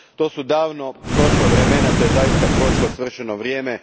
To su davno prošla vremena, to je zaista prošlo svršeno vrijeme.